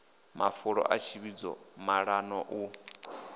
mafulo a tsivhudzo maṱano u